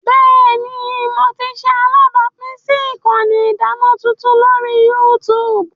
Bẹẹni, Mo ti ṣe alabapin si ikanni idana tuntun lori YouTube.